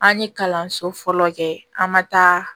An ye kalanso fɔlɔ kɛ an ma taa